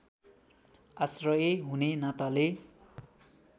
आश्रय हुने नाताले